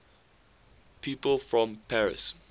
people from paris